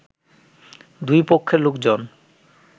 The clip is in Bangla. দুই পক্ষের লোকজন